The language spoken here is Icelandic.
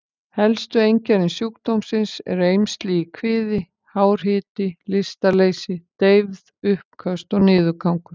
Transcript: Helstu einkenni sjúkdómsins eru eymsli í kviði, hár hiti, lystarleysi, deyfð, uppköst og niðurgangur.